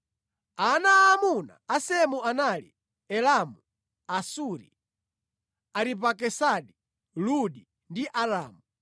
Ana aamuna a Semu anali: Elamu, Asuri, Aripakisadi, Ludi ndi Aramu.